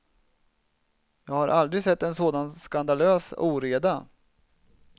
Jag har aldrig sett en sådan skandalös oreda.